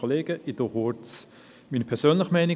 Ich begründe kurz meine persönliche Meinung.